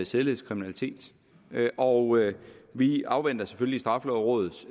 sædelighedskriminalitet og vi afventer selvfølgelig straffelovrådets